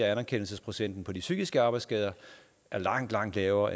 at anerkendelsesprocenten for de psykiske arbejdsskader er langt langt lavere